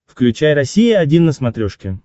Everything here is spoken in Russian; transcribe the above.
включай россия один на смотрешке